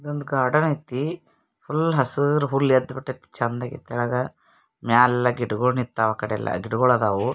ಇಲ್ ಒಂದ್ ಗಾರ್ಡನ್ ಐತೀ ಫುಲ್ ಹಸರ್ ಹುಲ್ಲ್ ಎದ್ಬುತ್ತೈತಿ ಛಂದ್ಗ ತಳಗ ಮ್ಯಾಗೆಲ್ಲ ಗಿಡಗೋಳ್ ನಿಂತಾವು ಅಕಾಡಿಯಲ್ಲ ಗಿಡಗೋಳ್ ಅದಾವು.